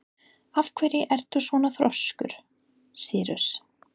Af hverju ertu svona þrjóskur, Sýrus?